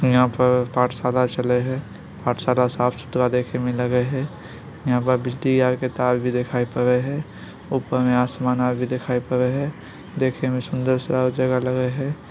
यहां पर पाठशाला चलय हेय पाठशाला साफ-सुथरा देखें मे लगय हेय यहां पर बिजली आर के तार भी दिखाई पड़य हेय ऊपर में आसमान आर भी दिखाई पड़य हेय देखे में सुन्दर सा जगह लगय हेय।